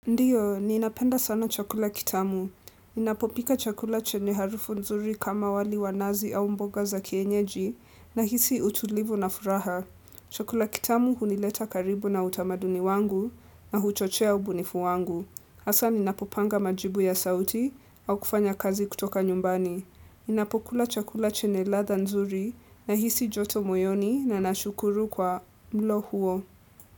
Ndio, ninapenda sana chakula kitamu. Ninapopika chakula chenye harufu nzuri kama wali wa nazi au mboga za kienyeji nahisi utulivu na furaha. Chakula kitamu hunileta karibu na utamaduni wangu na huchochea ubunifu wangu. Hasa ni napopanga majibu ya sauti au kufanya kazi kutoka nyumbani. Ninapopula chakula chenye ladha nzuri nahisi joto moyoni na nashukuru kwa mlo huo.